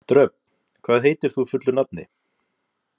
Dröfn, hvað heitir þú fullu nafni?